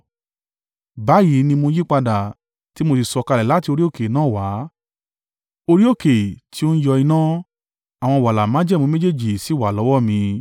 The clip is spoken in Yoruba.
Báyìí ni mo yípadà, tí mó sì sọ̀kalẹ̀ láti orí òkè náà wá, orí òkè tí o ń yọ iná. Àwọn wàláà májẹ̀mú méjèèjì sì wà lọ́wọ́ mi.